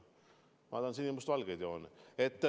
Ma tahan sinimustvalgeid jooni!